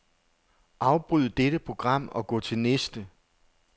Afbryd dette program og gå til næste.